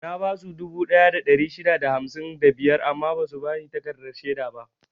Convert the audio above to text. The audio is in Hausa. Na basu dubu ɗaya da ɗari shida da hamsin da biyar amma basu bani takardar shaida ba.